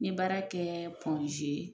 N ye baara kɛ